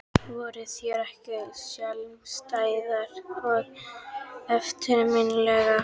Voru þær ekki sérstæðar og eftirminnilegar?